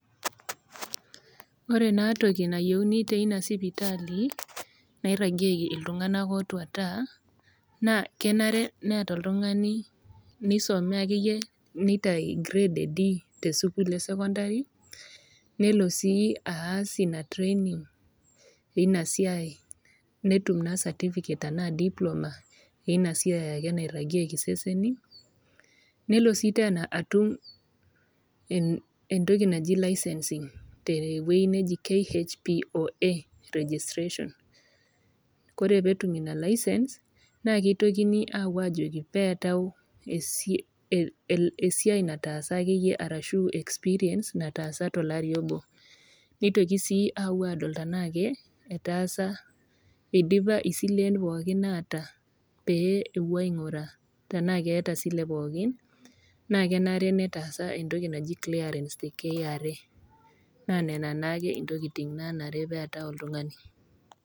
Ore naa toki nayieuni teina sipitali, nairagieki iltung'ana ootuata, naa kenare neata oltung'ani neisome ake iyie neitayu grade e D te sukuul e sokondari, nelo sii aas ina training ina siai netum naa certificate anaa Diploma eina siai ake nairagieki iseseni Nelo sii teena atum entoki naji licensing te ewueji naji KHPOA Registration, kore pee etum ina license naa keitoki aawuo ajoki pee eatau sii esiai nataasa ake iyie arashu experience nataasa tolari obo, neitoki sii ake awuo adol tanaa ake tanaa etaasa , eidipa isilen pooki opa naata pee ewuoi aing'uraa tanaa eata esile pooki naa kenare netaasa entoki naaji clearance te KRA. Naa nena naake intokitin naanare neata oltung'ani.